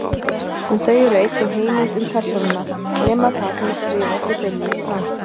En þau eru einnig heimild um persónuna, nema það sem er skrifað sé beinlínis rangt.